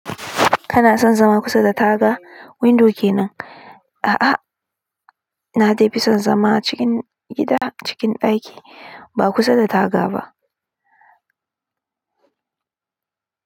Kana son zama kusa da taga, windo kenan? A'a, na dai fi son zama cikin gida, cikin ɗaki, ba kusa da taga ba.